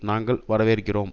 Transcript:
நாங்கள் வரவேற்கிறோம்